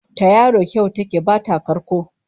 Ta yaro kyau ta ke bata karko